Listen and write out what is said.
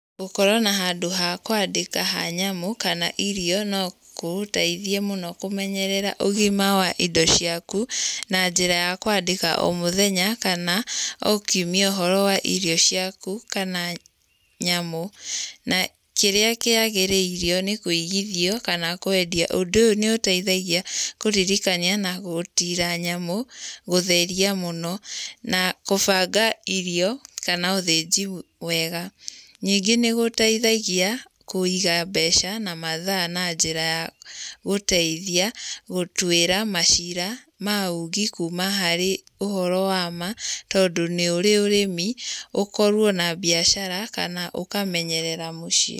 Gũkorwo na handũ ha kwandĩka ha nyamũ kana irio no gũgũteithie mũno kũmenyerera ũgima wa indo ciaku. Na njĩra ya kwandika o mũthenya kana o kiumia ũhoro wa irio ciaku kana nyamu. Kĩrĩa kĩagĩrĩirio nĩ kũigithio kana kwendia. Ũndũ ũyũ nĩ ũteithagia kũririkania na gũtira nyamũ, gũtheria mũno, gũbanga irio kana ũthĩnji wega. Ningĩ nĩ gũteithagia kũiga mbeca na mathaa na njĩra ya gũteithia gũtwĩra macira ma uugi kuuma harĩ ũhoro wa ma. Tondũ nĩ ũrĩ ũrĩmi ũkorwo na biacara kana ũkamenyerera mũciĩ.